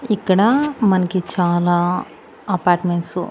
ఇక్కడా మనకి చాలా అపార్ట్మెంట్సు .